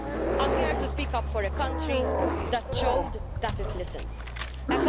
I'm here to speak up for a country that showed that it listens a country that is open to the recommendations made